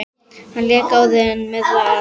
Hann lék áður með Val.